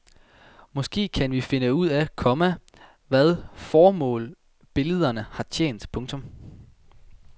Måske kan vi nu finde ud af, komma hvad formål billederne har tjent. punktum